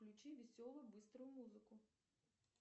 включи веселую быструю музыку